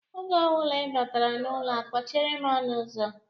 Oge ọ bụla ị batara n'ụlọ a, kpọchiere m ọnụụzọ!